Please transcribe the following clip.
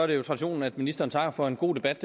er jo traditionen at ministeren takker for en god debat